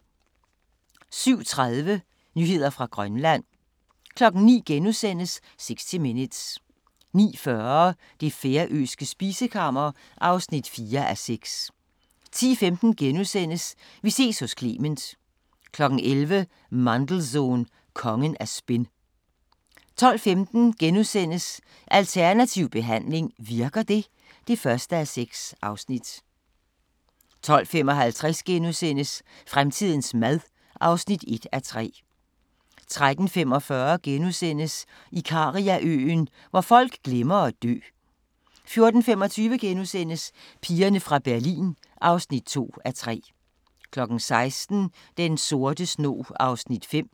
07:30: Nyheder fra Grønland 09:00: 60 Minutes * 09:40: Det færøske spisekammer (4:6) 10:15: Vi ses hos Clement * 11:00: Mandelson – kongen af spin 12:15: Alternativ behandling - virker det? (1:6)* 12:55: Fremtidens mad (1:3)* 13:45: Ikariaøen – hvor folk glemmer at dø * 14:25: Pigerne fra Berlin (2:3)* 16:00: Den sorte snog (5:6)